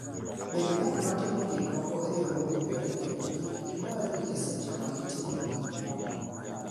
Bed ng'at matimo gik moko e yo mowinjore kendo kik ibari e seche ma itimoe gik moko.